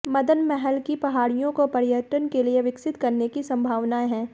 मदन महल की पहाड़ियों को पर्यटन के लिए विकसित करने की संभावनाएं हैं